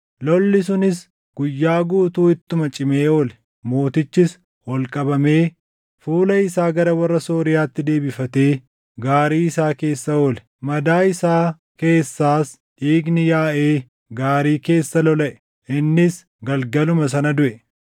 Lolli sunis guyyaa guutuu ittuma cimee oole; mootichis ol qabamee fuula isaa gara warra Sooriyaatti deebifatee gaarii isaa keessa oole. Madaa isaa keessaas dhiigni yaaʼee gaarii keessa lolaʼe; innis galgaluma sana duʼe.